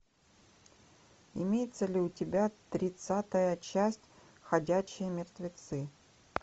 имеется ли у тебя тридцатая часть ходячие мертвецы